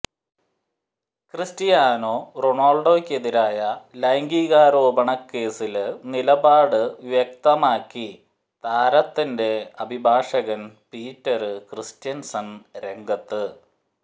Cristiano റൊണാള്ഡോയ്ക്കെതിരായ ലൈംഗീകാരോപണ കേസില് നിലപാട് വ്യക്തമാക്കി താരത്തിന്റെ അഭിഭാഷകന് പീറ്റര് ക്രിസ്റ്റ്യന്സണ് രംഗത്ത്